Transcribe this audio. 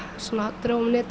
drógum netið